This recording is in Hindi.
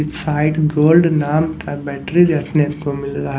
साइड गोल्ड नाम था बैटरी को मिलरा ह --